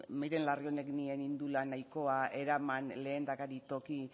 miren larrionek ez ninduela nahikoa eraman lehendakari toki